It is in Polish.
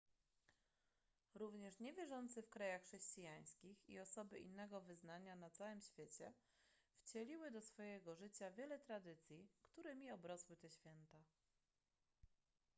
również niewierzący w krajach chrześcijańskich i osoby innego wyznania na całym świecie wcieliły do swojego życia wiele tradycji którymi obrosły te święta